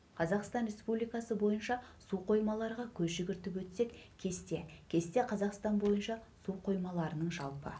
қазақстан республикасы бойынша су қоймаларға көз жүгіртіп өтсек кесте кесте қазақстан бойынша су қоймаларының жалпы